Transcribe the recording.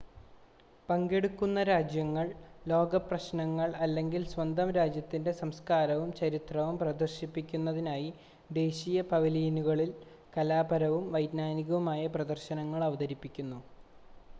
പങ്കെടുക്കുന്ന രാജ്യങ്ങൾ ലോക പ്രശ്നങ്ങൾ അല്ലെങ്കിൽ സ്വന്തം രാജ്യത്തിൻ്റെ സംസ്ക്കാരവും ചരിത്രവും പ്രദർശിപ്പിക്കുന്നതിനായി ദേശീയ പവലിയനുകളിൽ കലാപരവും വൈജ്ഞാനികവുമായ പ്രദർശനങ്ങൾ അവതരിപ്പിക്കുന്നു